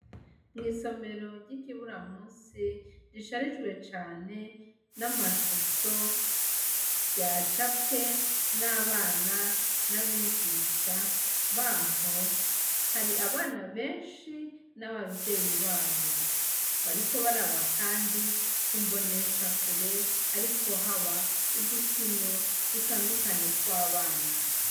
Mw'isomero ry'ikibura musi risharijwe cane n'amashusho vya cabwe n'abana n'abigisha baho hari abana benshi n'abavyeyi babo bariko baraba, kandi kumbonesha kure hariko haba udukino dutandukanye tw'abana.